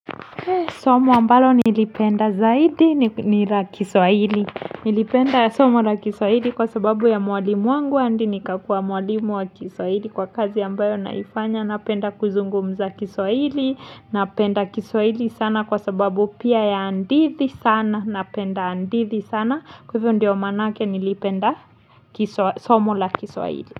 Somo ambalo nilipenda zaidi ni la Kiswahili. Nilipenda somo la Kiswahili kwa sababu ya mwalimu wangu hadi nikakua mwalimu wa Kiswahili kwa kazi ambayo naifanya. Napenda kuzungumza Kiswahili. Napenda Kiswahili sana kwa sababu pia ya hadithi sana. Napenda andithi sana. Kwa hivyo ndio manake nilipenda somo la Kiswahili.